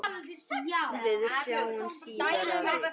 Við sjáumst síðar, afi.